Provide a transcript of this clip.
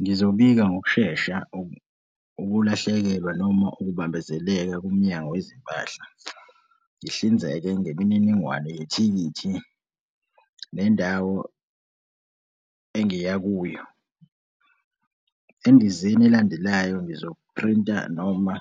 Ngizobika ngokushesha ukulahlekelwa noma ukubambezeleka kuMnyango weZempahla. Ngihlinzeke ngemininingwane yethikithi nendawo engiya kuyo. Endizeni elandelayo, ngizophrinta noma